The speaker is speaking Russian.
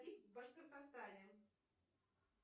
в башкортостане